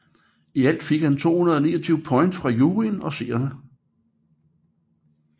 I alt fik han 229 point fra juryen og seerne